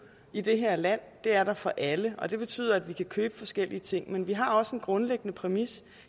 i det her land det er der for alle og det betyder at vi kan købe forskellige ting men vi har også en grundlæggende præmis